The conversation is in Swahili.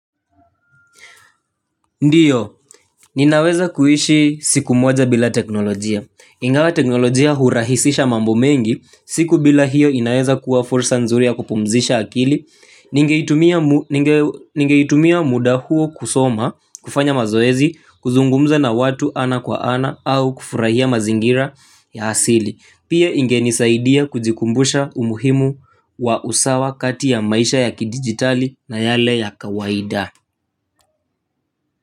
Ndiyo, ninaweza kuishi siku moja bila teknolojia. Ingawa teknolojia hurahisisha mambo mengi, siku bila hiyo inaweza kuwa fursa nzuri ya kupumzisha akili. Ningeitumia muda huo kusoma, kufanya mazoezi, kuzungumza na watu ana kwa ana au kufurahia mazingira ya asili. Pia ingeni saidia kujikumbusha umuhimu wa usawa kati ya maisha ya kidigitali na yale ya kawaida.